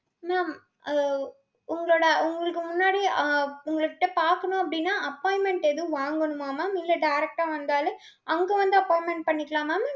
mam அஹ் உங்களோட உங்களுக்கு முன்னாடி ஆஹ் உங்ககிட்ட பாக்கணும் அப்டினா appointment எதும் வாங்கணுமா mam இல்ல direct ஆ வந்தாலே அங்க வந்து appointment பண்ணிக்கலாம் mam.